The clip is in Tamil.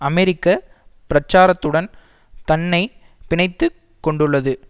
அமெரிக்க பிரச்சாரத்துடன் தன்னை பிணைத்துக் கொண்டுள்ளது